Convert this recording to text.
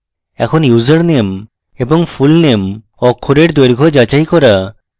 এখন username এবং fullname অক্ষরের দৈর্ঘ্যের যাচাই করা